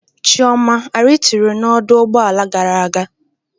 Chioma a ritu na ọdụ ụgbọ ala gara aga?